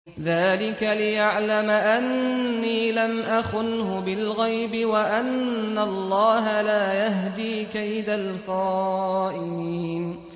ذَٰلِكَ لِيَعْلَمَ أَنِّي لَمْ أَخُنْهُ بِالْغَيْبِ وَأَنَّ اللَّهَ لَا يَهْدِي كَيْدَ الْخَائِنِينَ